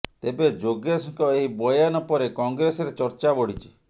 ତେବେ ଯୋଗେଶଙ୍କ ଏହି ବୟାନ ପରେ କଂଗ୍ରେସରେ ଚର୍ଚ୍ଚା ବଢିଛି